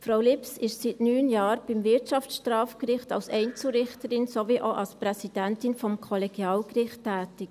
Frau Lips ist seit 9 Jahren am Wirtschaftsstrafgericht als Einzelrichterin sowie auch als Präsidentin des Kollegialgerichts tätig.